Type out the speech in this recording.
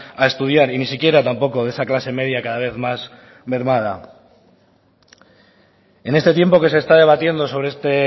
a estudiar y ni siquiera tampoco de esa clase media cada vez más mermada en este tiempo que se está debatiendo sobre este